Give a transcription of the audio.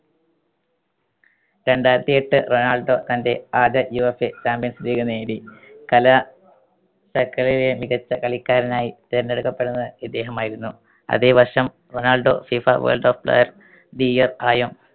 രണ്ടായിരത്തിയെട്ട് Ronaldo തന്റെ ആദ്യ UEFA champions league നേടി. കലാ~ശക്കളിയിലെ മികച്ച കളിക്കാരനായി തെരഞ്ഞടുക്കപ്പെടുന്നത് ഇദ്ദേഹമായിരുന്നു. അതേ വർഷം Ronaldo FIFA world of player the year ആയും